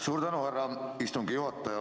Suur tänu, härra istungi juhataja!